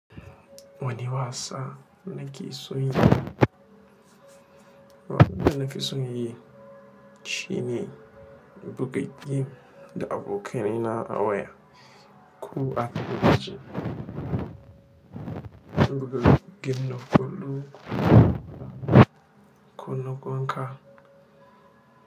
Wani wasa nake so yi, wani nafi so yin shi ne buga game da abokaina a waya. Ku a tashi buga game na gudu, ku na gwan ka.